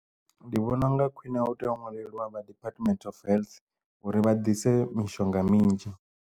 Ndi vhona unga khwine hu tea u nwaleliwa vha department of health uri vha dise mishonga minzhi.